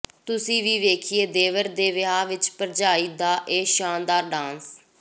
ਤੁਸੀ ਵੀ ਵੇਖੀਏ ਦੇਵਰ ਦੇ ਵਿਆਹ ਵਿੱਚ ਭਰਜਾਈ ਦਾ ਇਹ ਸ਼ਾਨਦਾਰ ਡਾਂਸ